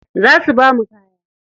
Za su bamu kaya.